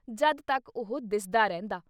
ਜਦ ਤੱਕ ਉਹ ਦਿਸਦਾ ਰਹਿੰਦਾ।